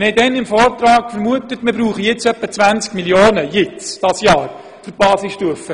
Damals haben wir angenommen, wir bräuchten im aktuellen Jahr etwa 20 Mio. Franken für die Basisstufe.